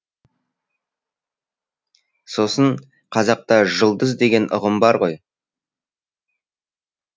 сосын қазақта жұлдыз деген ұғым бар ғой